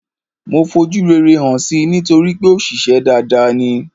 Mo fojú rere hàn si nítorípé òṣìṣę dada ni.